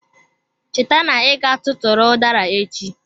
Cheta na iga tụtụrụ udara echi.